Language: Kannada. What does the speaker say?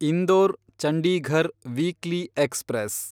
Indore Chandigarh weekly express